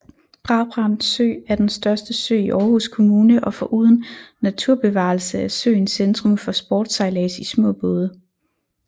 Brabrand Sø er den største sø i Aarhus Kommune og foruden naturbevarelse er søen centrum for sportssejlads i små både